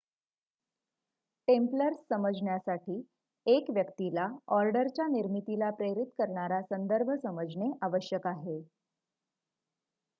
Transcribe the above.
Templars समजण्यासाठी 1 व्यक्तीला ऑर्डरच्या निर्मितीला प्रेरित करणारा संदर्भ समजणे आवश्यक आहे